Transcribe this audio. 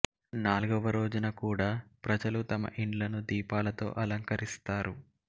నాల్గవ రోజున కూడా ప్రజలు తమ ఇండ్లను దీపాలతో అలంక రిస్తారు